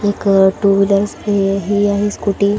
एक two wheeler ही आहे स्कूटी --